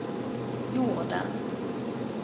jorden